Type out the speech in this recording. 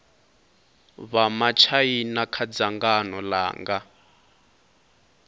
vha matshaina kha dzangano langa